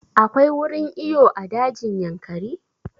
Akwai wurin iyo a dajin Yankari?